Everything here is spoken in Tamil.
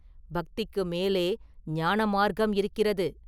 பக்திக்கு மேலே ஞானமார்க்கம் இருக்கிறது.